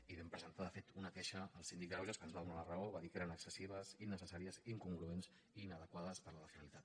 i vam presentar de fet una queixa al síndic de greuges que ens va donar la raó va dir que eren excessives innecessàries incongruents i inadequades per a la finalitat